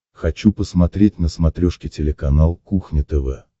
хочу посмотреть на смотрешке телеканал кухня тв